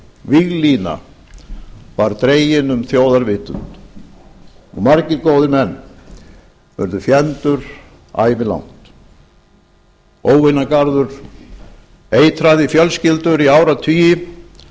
víglína var dregin um þjóðarvitund margir góðir menn urðu fjendur ævilangt óvinagarður eitraði fjölskyldur í áratugi